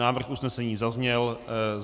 Návrh usnesení zazněl.